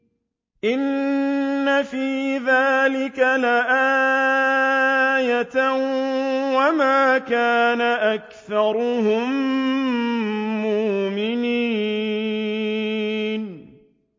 إِنَّ فِي ذَٰلِكَ لَآيَةً ۖ وَمَا كَانَ أَكْثَرُهُم مُّؤْمِنِينَ